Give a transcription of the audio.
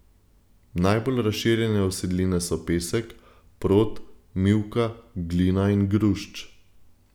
Najbolj razširjene usedline so pesek, prod, mivka, glina in grušč.